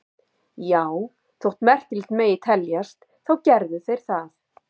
Já, þótt merkilegt megi teljast þá gerðu þeir það.